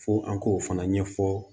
Fo an k'o fana ɲɛfɔ